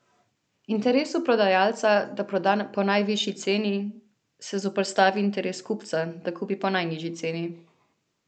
Interesu prodajalca, da proda po najvišji ceni, se zoperstavi interes kupca, da kupi po najnižji ceni.